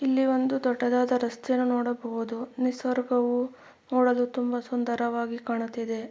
ಇಲ್ಲಿ ಒಂದು ದೊಡ್ಡದಾದ ರಸ್ತೆಯನ್ನು ನೋಡಬಹುದು ನಿಸರ್ಗವು ನೋಡಲು ತುಂಬಾ ಸುಂದರವಾಗಿ ಕಾಣುತ್ತಿದೆ.